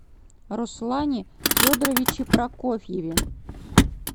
руслане федоровиче прокофьеве